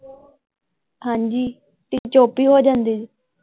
ਹਾਂਜੀ ਤੁਸੀਂ ਚੁੱਪ ਈ ਹੋ ਜਾਂਦੇ ਜੇ।